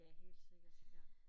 Ja helt sikkert ja